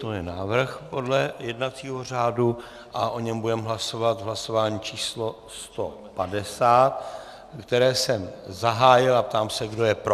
To je návrh podle jednacího řádu a o něm budeme hlasovat v hlasování číslo 150, které jsem zahájil, a ptám se, kdo je pro.